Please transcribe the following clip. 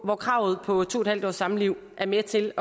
hvor kravet på to en halv års samliv er med til